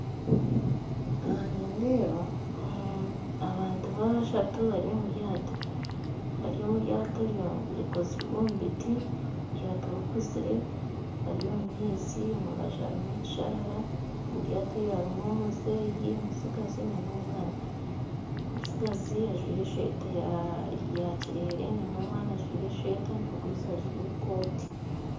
Aha nindeeba abantu bashatu bari omu ryato erikozirwe omu biti eryato rikuzire bari omu maizi, omu rubaju harimu ekisharara omu ryato harimu omuzeeyi ,omutsigazi n'omwana, omutsigazi ajwire esweta yakirere omwana ajwire esweta omugurusi ajwire ekooti